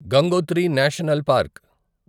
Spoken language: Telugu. Gangotri national park